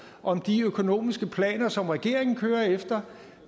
om de økonomiske planer som regeringen kører efter